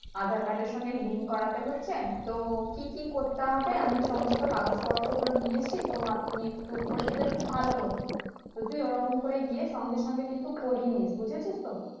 andar card এর সঙ্গে link করতে হচ্ছে তো কি কি করতে হবে আমি সমস্ত কাগজ পত্র গুলো নিয়ে এসেছি তো আপনি একটু করে দিলে খুব ভালো হতো তো তুই ওরকম করে সঙ্গে সঙ্গে কিন্তু করিয়েনিশ বুজেছিস তো